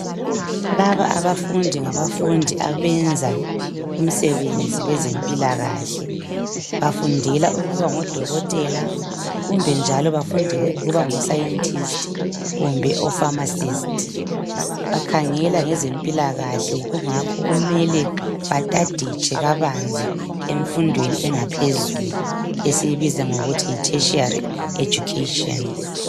Laba abafundi ngafundi abenza umsebenzi wezempilakahle befundela ukuba ngodokotela kumbe njaloofamasisti kumbe aasayentisti. Bakhangela ngezempilakahle kungakho kumele bahaditshe kabanzi emfundweni yaphezulu esisibiza ngokuthi yitheshari.